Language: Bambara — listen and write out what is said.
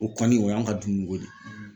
O kɔni o y'an ka dumuniko de ye